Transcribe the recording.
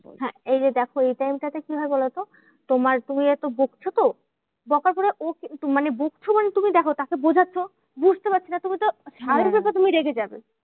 হ্যাঁ এইযে দেখো এই time টা তে কি হয় বলোতো? তোমার তুমি যেহেতু বকছো তো? বকা করে ও কিন্তু মানে বকছো মানে তুমি দেখো তাকে বোঝাচ্ছো? বুঝতে পারছে না তুমি তো, স্বাভাবিক ব্যাপার তুমি রেগে যাবে।